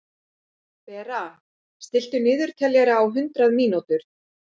Bera, stilltu niðurteljara á hundrað mínútur.